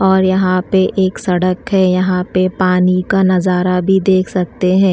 और यहां पे एक सड़क है यहां पे पानी का नजारा भी देख सकते हैं।